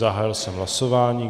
Zahájil jsem hlasování.